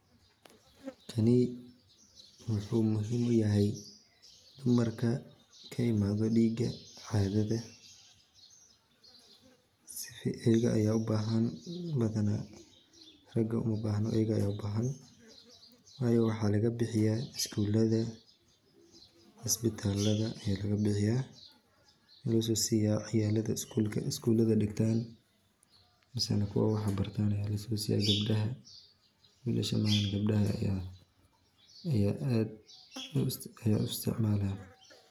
Tani wuxuu muhiim utahay dumarka ka imaado dhiiga caadada, ayaga aya u bahan badana, raga uma bahno ayaga aya u bahan wayo waxaa laga bixiya isgula iyo isbataalada aya laga bixiya, lagaso siya ciyalka isgulada dhigtaan misana kuwa wax bartan aya laso siya gabdhaha wilasha ma aha gabdhaha aya aad u isticmaalan